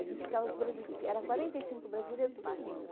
A gente ficava... eram quarenta e cinco brasileiros, tudo junto.